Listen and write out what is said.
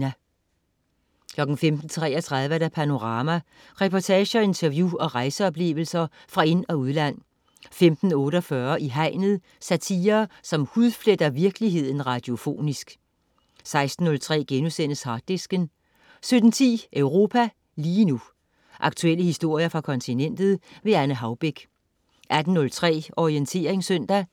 15.33 Panorama. Reportager, interview og rejseoplevelser fra ind- og udland 15.48 I Hegnet. Satire, som hudfletter virkeligheden radiofonisk 16.03 Harddisken* 17.10 Europa lige nu. Aktuelle historier fra kontinentet. Anne Haubek 18.03 Orientering søndag.